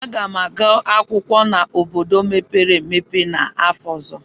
Aga m aga akwụkwọ n'obodo mepere emepe n'afọ ọzọ.